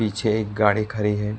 पीछे एक गाड़ी खड़ी है।